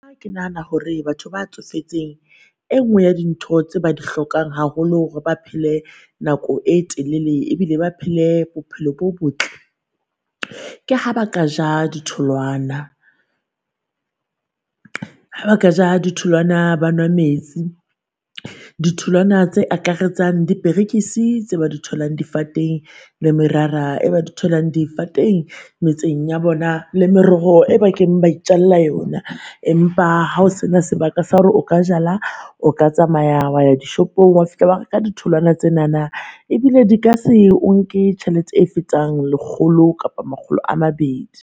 Ke nahana hore batho ba tsofetseng e nngwe ya dintho tse ba di hlokang haholo hore ba pele nako e telele, ebile ba phele bophelo bo botle, ke ha ba ka ja ditholwana. Ha ba ka ja ditholwana ba nwa metsi, ditholwana tse akaretsang diperekisi tse ba di tholang difateng le merara e ba di tholang difateng metseng ya bona. Le meroho e ba keng ba ijalla yona. Empa hao sena sebaka sa hore o ka jala o ka tsamaya wa ya dishopong wa fihla wa reka ditholwana tsenana, ebile di ka se o nke tjhelete e fetang lekgolo kapa makgolo a mabedi.